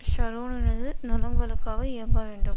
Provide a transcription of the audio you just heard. ஷரோனினது நலன்களுக்காக இயங்க வேண்டும்